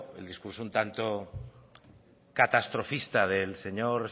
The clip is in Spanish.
el discurso un tanto catastrofista del señor